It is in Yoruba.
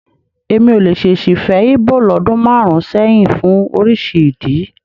Èmi ò lè ṣèṣì fẹ́ Íbò lọ́dún márùn-ún sẹ́yìn fún oríṣi ìdí.